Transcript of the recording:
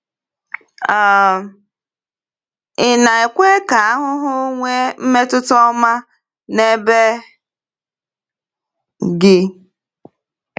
um Ì na-ekwe ka ahụhụ nwee mmetụta ọma n’ebe gị?